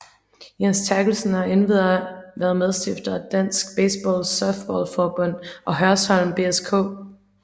Jens Terkelsen har endvidere været medstifter af Dansk Baseball Softball Forbund og Hørsholm BSK